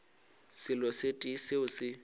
selo se tee seo se